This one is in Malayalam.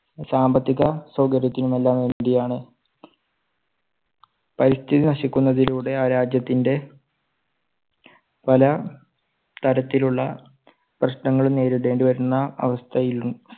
സാമ്പത്തിക സൗകര്യത്തിനും എല്ലാം വേണ്ടിയാണ്. പരിസ്ഥിതി നശിക്കുന്നതിലൂടെ ആ രാജ്യത്തിൻറെ പല തരത്തിലുള്ള പ്രശ്നങ്ങളും നേരിടേണ്ടി വരുന്ന അവസ്ഥയിൽ